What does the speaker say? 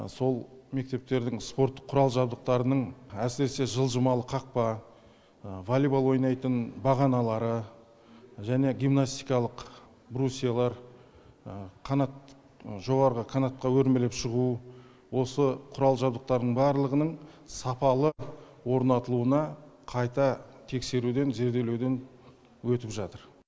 сол мектептердің спорттық құрал жабдықтарының әсіресе жылжымалы қақпа волейбол ойнайтын бағаналары және гимнастикалық брусиялар жоғарғы канатқа өрмелеп шығу осы құрал жабдықтарының барлығының сапалы орнатылуына қайта тексеруден зерделеуден өтіп жатыр